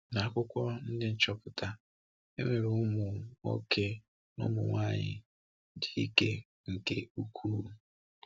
N’akwụkwọ Ndị Nchọpụta, e nwere ụmụ nwoke na ụmụ nwaanyị dị ike nke ukwuu.